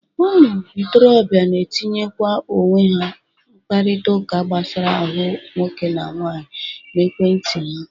Ụmụ ntorobịa na-etinyekwa owe ha n'ịkparịtaụka gbasara ahụ nwoke na nwaanyị n'ekwe nti ha.